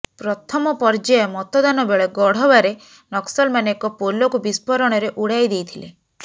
ପ୍ରଥମ ପର୍ଯ୍ୟାୟ ମତଦାନ ବେଳେ ଗଢବାରେ ନକ୍ସଲମାନେ ଏକ ପୋଲକୁ ବିସ୍ଫୋରଣରେ ଉଡାଇ ଦେଇଥିଲେ